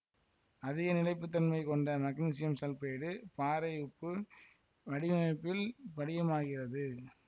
அதிக நிலைப்புத்தன்மை கொண்ட மக்னீசியம் சல்பைடு பாறை உப்பு வடிவமைப்பில் படிகமாகிறது